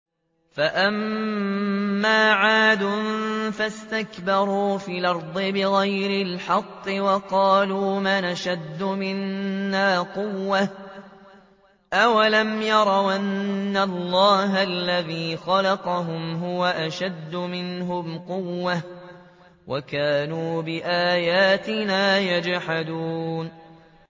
فَأَمَّا عَادٌ فَاسْتَكْبَرُوا فِي الْأَرْضِ بِغَيْرِ الْحَقِّ وَقَالُوا مَنْ أَشَدُّ مِنَّا قُوَّةً ۖ أَوَلَمْ يَرَوْا أَنَّ اللَّهَ الَّذِي خَلَقَهُمْ هُوَ أَشَدُّ مِنْهُمْ قُوَّةً ۖ وَكَانُوا بِآيَاتِنَا يَجْحَدُونَ